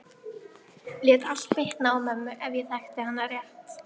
Lét allt bitna á mömmu ef ég þekkti hann rétt.